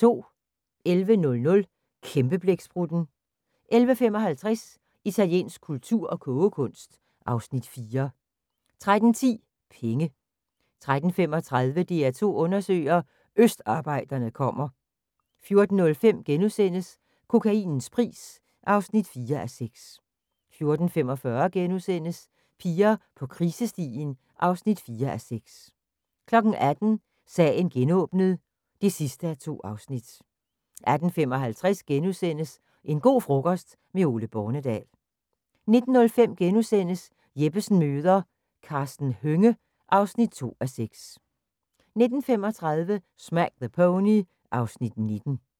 11:00: Kæmpeblæksprutten 11:55: Italiensk kultur og kogekunst (Afs. 4) 13:10: Penge 13:35: DR2 undersøger: Østarbejderne kommer 14:05: Kokainens pris (4:6)* 14:45: Piger på krisestien (4:6)* 18:00: Sagen genåbnet (2:2) 18:55: En go' frokost - med Ole Bornedal * 19:05: Jeppesen møder ... Karsten Hønge (2:6)* 19:35: Smack the Pony (Afs. 19)